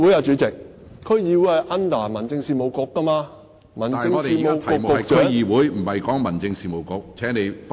主席，區議會是由民政事務局負責的，而民政事務局局長......